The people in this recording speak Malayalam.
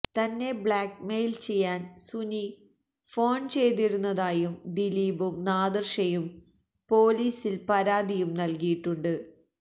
തന്നെ ബ്ലാക് മെയില് ചെയ്യാന് സുനി ഫോണ് ചെയ്തിരുന്നതായി ദിലീപും നാദിര്ഷയും പൊലീസില് പരാതിയും നല്കിയിട്ടുണ്ട്